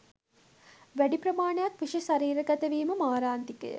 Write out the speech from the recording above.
වැඩි ප්‍රමාණයක් විෂ ශරීරගත වීම මාරාන්තිකය.